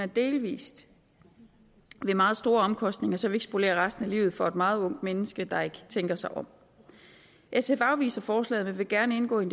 delvis ved meget store omkostninger så vi ikke spolerer resten af livet for et meget ungt menneske der ikke tænker sig om sf afviser forslaget men vil gerne indgå i